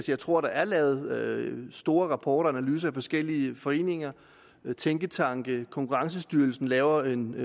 jeg tror at der er lavet store rapporter og analyser af forskellige foreninger og tænketanke og konkurrencestyrelsen laver en